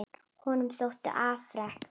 Honum þóttu afrek